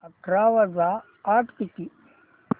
अठरा वजा आठ किती